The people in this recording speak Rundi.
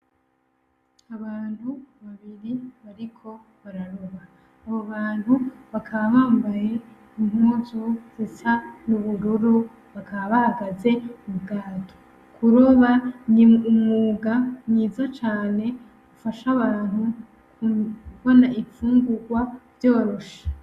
Abantu babiri bariko bararoba, abo bantu bakaba bambaye impuzu zisa n'ubururu bakaba bahagaze k'ubwato, kuroba ni umwuga mwiza cane ufasha abantu kubona infugugwa vyoroshe.